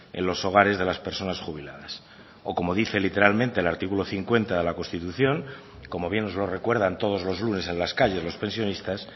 en los hogares de las personas jubiladas o como dice literalmente el artículo cincuenta de la constitución como bien nos lo recuerdan todos los lunes en las calles los pensionistas